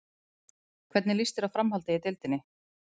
Hvernig lýst þér á framhaldið í deildinni?